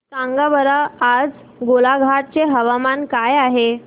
सांगा बरं आज गोलाघाट चे हवामान कसे आहे